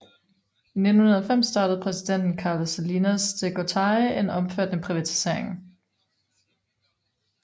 I 1990 startede præsidenten Carlos Salinas de Gortari en omfattende privatisering